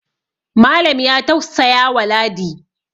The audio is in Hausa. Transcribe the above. Malam ya taussaya wa ladi